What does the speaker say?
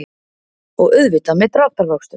Og auðvitað með dráttarvöxtum.